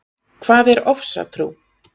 Hvað er ofsatrú?